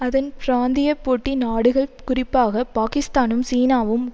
அதன் பிராந்திய போட்டி நாடுகள் குறிப்பாக பாக்கிஸ்தானும் சீனாவும்